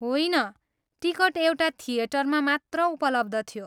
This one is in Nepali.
होइन, टिकट एउटा थिएटरमा मात्र उपलब्ध थियो।